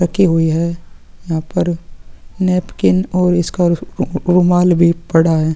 रखी हुई है यहाँ पर नैपकिन और उसका रु उ रूमाल भी पड़ा है।